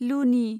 लुनि